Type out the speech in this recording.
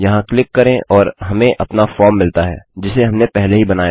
यहाँ क्लिक करें और हमें अपना फॉर्म मिलता है जिसे हमने पहले ही बनाया था